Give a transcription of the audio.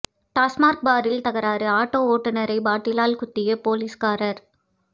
டாஸ்மாக் பாரில் தகராறு ஆட்டோ ஓட்டுனரை பாட்டிலால் குத்திய போலீஸ்காரர்